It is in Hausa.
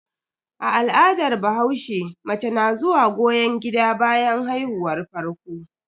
A al'adar bahaushe, mace na zuwa goyon gida bayan haihuwar farko.